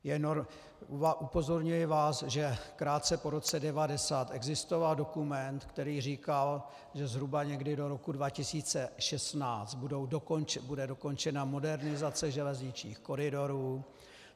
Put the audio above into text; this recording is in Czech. Upozorňuji vás, že krátce po roce 1990 existoval dokument, který říkal, že zhruba někdy do roku 2016 bude dokončena modernizace železničních koridorů.